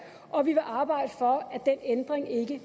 og vi vil arbejde for at den ændring ikke